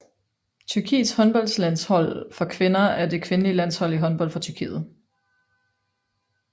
Tyrkiets håndboldlandshold for kvinder er det kvindelige landshold i håndbold for Tyrkiet